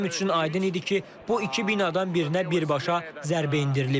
Mənim üçün aydın idi ki, bu iki binadan birinə birbaşa zərbə endirilib.